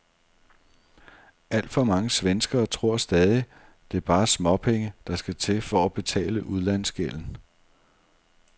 Alt for mange svenskere tror stadig, det bare er småpenge, der skal til for at betale udlandsgælden.